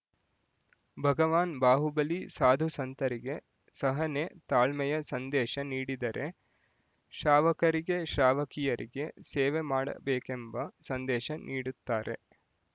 ಭಗವಾನ್ ಬಾಹುಬಲಿ ಸಾಧುಸಂತರಿಗೆ ಸಹನೆ ತಾಳ್ಮೆಯ ಸಂದೇಶ ನೀಡಿದರೆ ಶ್ರಾವಕರಿಗೆ ಶ್ರಾವಕಿಯರಿಗೆ ಸೇವೆ ಮಾಡಬೇಕೆಂಬ ಸಂದೇಶ ನೀಡುತ್ತಾರೆ